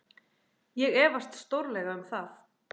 Ég efast stórlega um það.